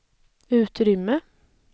utrymme